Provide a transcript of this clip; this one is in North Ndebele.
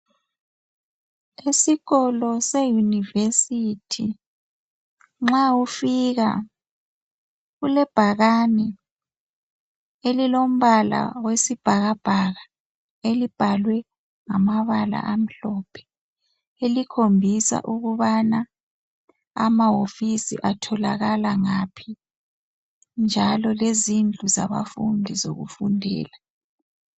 Isikolo seyunivesithi nxa ufika kulebhakane elilombala wesibhakabhaka elibhalwe ngamabala amhlophe elikhombisa ukubana amawofisi atholakala ngaphi njalo lezindlu zabafundi zokufundela